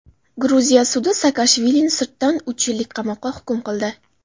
Gruziya sudi Saakashvilini sirtdan uch yillik qamoqqa hukm qildi.